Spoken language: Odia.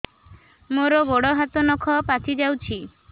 ମୋର ଗୋଡ଼ ହାତ ନଖ ପାଚି ଯାଉଛି